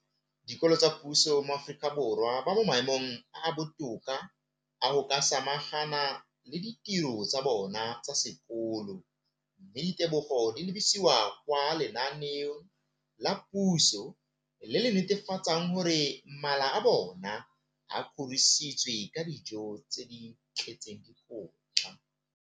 Dikolo tsa puso mo Aforika Borwa ba mo maemong a a botoka a go ka samagana le ditiro tsa bona tsa sekolo, mme ditebogo di lebisiwa kwa lenaaneng la puso le le netefatsang gore mala a bona a kgorisitswe ka dijo tse di tletseng dikotla.